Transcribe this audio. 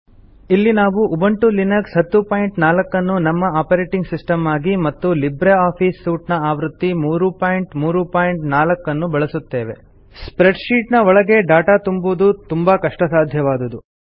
ಇಲ್ಲಿ ನಾವು Ubuntu Linux 1004 ಅನ್ನು ನಮ್ಮ ಆಪರೇಟಿಂಗ್ ಸಿಸ್ಟಮ್ ಆಗಿ ಮತ್ತು ಲಿಬ್ರೆ ಆಫೀಸ್ ಸೂಟ್ ಆವೃತ್ತಿ 334 ಅನ್ನು ಬಳಸುತ್ತೇವೆ ಸ್ಪ್ರೆಡ್ ಶೀಟ್ ನ ಒಳಗೆ ಡಾಟಾ ತುಂಬುವುದು ತುಂಬಾ ಕಷ್ಟಸಾಧ್ಯವಾದುದು